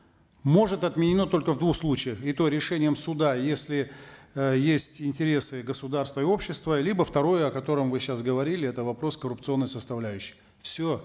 может отменено только в двух случаях и то решением суда если э есть интересы государства и общества либо второе о котором вы сейчас говорили это вопрос коррупционной составляющей все